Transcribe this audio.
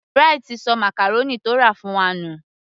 Bright sọ màcàrónì tó rà fún wa nù